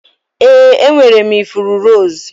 Ee, enwere m ifuru rose.